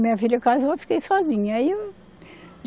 Minha filha casou e eu fiquei sozinha, aí.